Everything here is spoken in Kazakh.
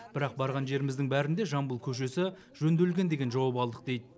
бірақ барған жеріміздің бәрінде жамбыл көшесі жөнделген деген жауап алдық дейді